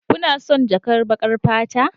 Kuna son jakar baƙar fata?